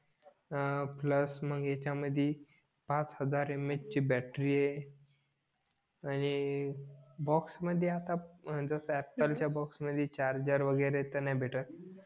अं plus मग ह्याच्या मढी फाच हजार यम यच बॅटरी आहे आणि बॉक्स मध्ये आता जस अँपल च्या मढी चार्जेर वगैरे तर नाही भेटत